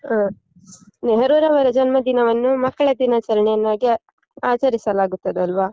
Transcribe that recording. ಹಾ. ನೆಹರುರವರ ಜನ್ಮದಿನವನ್ನು ಮಕ್ಕಳ ದಿನಾಚರಣೆಯನ್ನಾಗಿ ಆ~ ಆಚರಿಸಲಾಗುತ್ತದಲ್ವಾ?